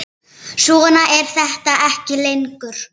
Svona er þetta ekki lengur.